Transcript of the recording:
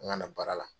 N kana baara la